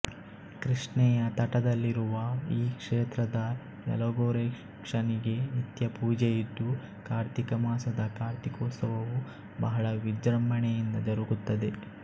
ಕೃಷ್ಣೆಯ ತಟದಲ್ಲಿರುವ ಈ ಕ್ಷೇತ್ರದ ಯಲಗೂರೇಶನಿಗೆ ನಿತ್ಯ ಪೂಜೆಯಿದ್ದು ಕಾರ್ತಿಕ ಮಾಸದ ಕಾರ್ತಿಕೋತ್ಸವವು ಬಹಳ ವಿಜೃಂಭಣೆಯಿಂದ ಜರಗುತ್ತದೆ